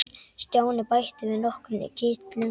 Stjáni bætti við nokkrum kitlum.